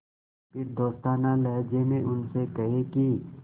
फिर दोस्ताना लहजे में उनसे कहें कि